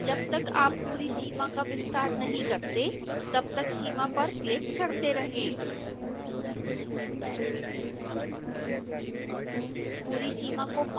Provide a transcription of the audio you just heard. जब तक आप पूरी सीमा का विस्तार नहीं करते तब तक सीमा पर क्लिक करते रहें